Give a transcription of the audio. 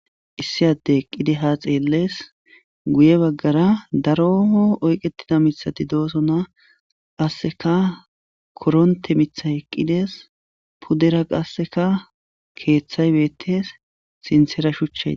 Issi addey eqqidi ha xelles guyera bagara daro oyketida mithati dosona qaseka koronte mithay eqides qaseka pudera qaseka kethay betes sinthara shuchiy betes